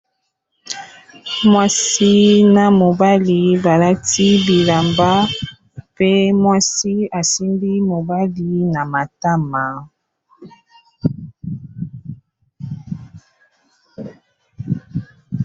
mwasi na mobali balati bilamba pe mwasi asimbi mobali na matama